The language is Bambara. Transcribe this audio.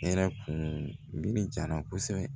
Hɛrɛ kun mi ja na kosɛbɛ